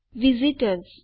visit ORS